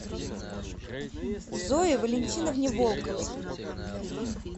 зое валентиновне волковой